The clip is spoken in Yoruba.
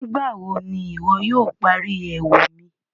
Nígbàwó̀ ní iwo yóò pári ẹwù mi?